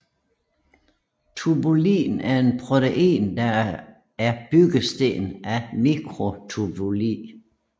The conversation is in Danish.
Tubulin er et protein der er byggesten af mikrotubuli